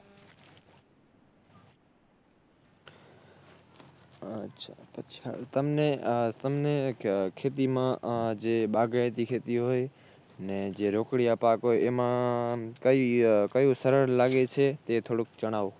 અચ્છા અચ્છા તમને, તમને ખેતીમાં જે બાગાયતી ખેતી હોય ને જે રોકડિયા પાક હોય એમાં કઈ કયું સરળ લાગે છે એ થોડુક જણાવો